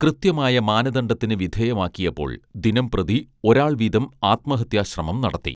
കൃത്യമായ മാനദണ്ഢത്തിന് വിധേയമാക്കിയപ്പോൾ ദിനംപ്രതി ഒരാൾവീതം ആത്മഹത്യാ ശ്രമം നടത്തി